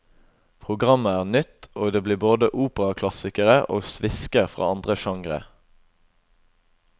Programmet er nytt, og det blir både operaklassikere og svisker fra andre genre.